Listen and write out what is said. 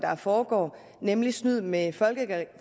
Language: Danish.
foregår nemlig snyd med